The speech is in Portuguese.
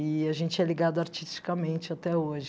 E a gente é ligado artisticamente até hoje.